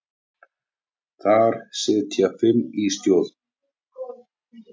Þar sitja fimm í stjórn.